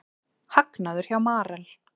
Hagnaður hjá Marel